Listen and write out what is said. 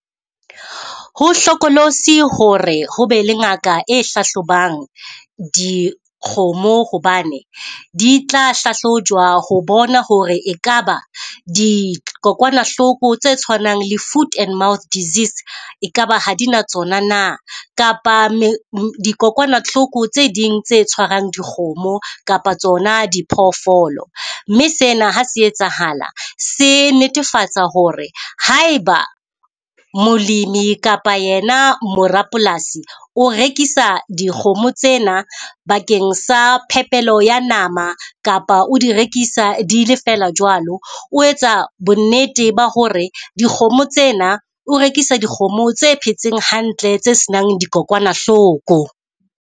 Ho hlokolosi hore ho be le ngaka e hlahlobang dikgomo hobane, di tla hlahlojwa ho bona hore e ka ba dikokwanahloko tse tshwanang le food and mouth disease e ka ba ha di na tsona na? Kapa dikokwanahloko tse ding tse tshwarang dikgomo kapa tsona diphoofolo. Mme sena ha se etsahala se netefatsa hore ha e ba molemi kapa yena morapolasi o rekisa dikgomo tsena bakeng sa phepelo ya nama kapa o di rekisa di le feela jwalo? O etsa bonnete ba hore dikgomo tsena o rekisa dikgomo tse phetseng hantle tse se nang dikokwanahloko.